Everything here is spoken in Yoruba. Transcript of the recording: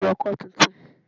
Alágbẹ̀dẹ ń rọ ọkọ́ tuntun